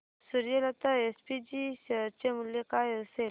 Suryalata SPG share चे मूल्य काय असेल